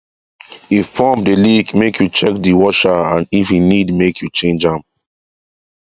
if pump dey leak make u check the washer and if e need make u change am